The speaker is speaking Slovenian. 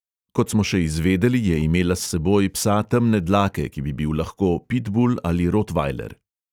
Kot smo še izvedeli, je imela s seboj psa temne dlake, ki bi bil lahko pitbul ali rotvajler.